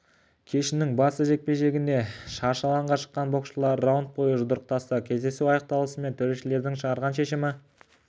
кешінің басты жекпе-жегінде шаршы алаңға шыққан боксшылар раунд бойы жұдырықтасты кездесу аяқталысымен төрешілердің шығарған шешімі